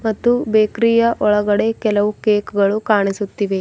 ಮತ್ತು ಬೇಕರಿ ಯ ಒಳಗಡೆ ಕೆಲವು ಕೇಕ್ಗ ಳು ಕಾಣಿಸುತ್ತಿವೆ.